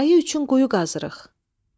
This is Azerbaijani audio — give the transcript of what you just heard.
Ayı üçün quyu qazırıq.